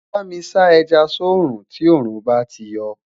bámi sá ẹja sọ rún tí orun bá tí yo